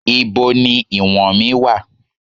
Ibo ni ìwọ̀n mí wà?